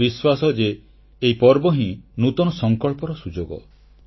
ମୋର ବିଶ୍ୱାସ ଯେ ଏହି ପର୍ବ ହିଁ ନୂତନ ସଂକଳ୍ପର ସୁଯୋଗ